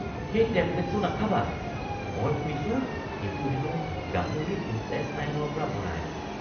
সেই টেবলেটটো নাখাবা। মই শুনিছোঁ সেইটো হেনো গাহৰিৰ ইনটেষ্টাইনৰ পৰা বনায়।